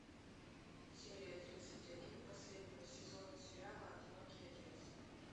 серия тридцать один последнего сезона сериала одинокий отец